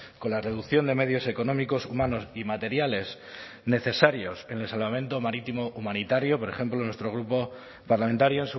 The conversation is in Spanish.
con la reducción de medios económicos humanos y materiales necesarios en el salvamento marítimo humanitario por ejemplo nuestro grupo parlamentario